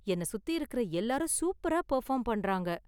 என்ன சுத்தி இருக்குற எல்லாரும் சூப்பரா பெர்ஃபார்ம் பண்றாங்க.